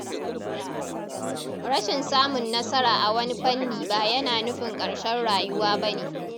Rashin samun nasara a wani fanni ba yana nufin ƙarshen rayuwa ba ne.